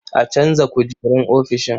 A canza kujerun ofishin.